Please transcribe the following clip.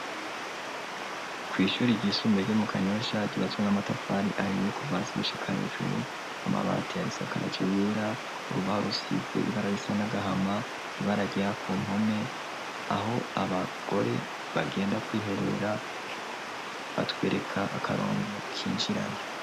kw'ishuri ry'isumbee ryo mu kanyosha ryubatswe n'amatafari ahiye kuva hasi gushika hejuru, amabati arisakaje yera urubaho rusize ibara risa n'agahama ,ibara ryera ku mpome ,aho abagore bagenda kwiherera ,batwereka akarongo k'injirayo.